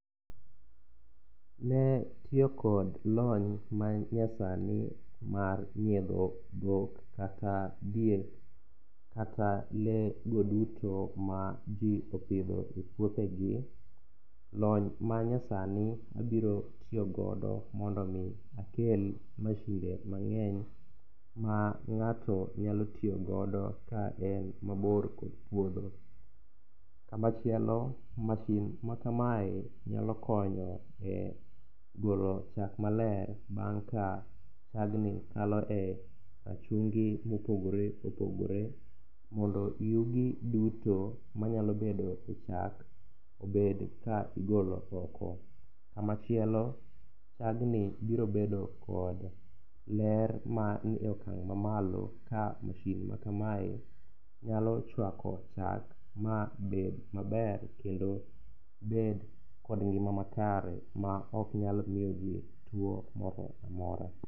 Ne tiyokod lony manyasani mar nyiedho dhok kata diek kata lee go duto maji opidho e puothegi, lony manyasani abirotiyogodo mondo omi akel mashinde mang'eny ma ng'ato nyalo tiyogodo kaen mabor kod puodho. Kamachielo mashin makamae nyalo konyo e golo chak maler bang' ka chagni kalo e rachungi mopogore opogore mondo yugi duto manyalo bedo e chak obed ka igolo oko. Kamachielo chagni biro bedo kod ler manie okang' mamalo ka mashin makamae nyalo chwako chak mabed maber kendo bed kod ngima makare ma oknyal miyo ji tuo moro amora.